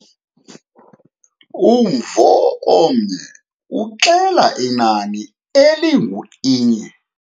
Umvo omnye uxela inani elingu-inye.